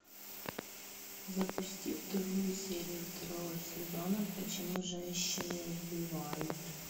запусти вторую серию второго сезона почему женщины убивают